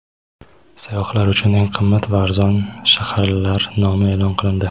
Sayyohlar uchun eng qimmat va arzon shaharlar nomi e’lon qilindi.